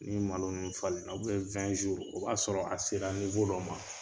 Ni malo ninnu falen na ,, o b'a sɔrɔ a sera dɔ ma.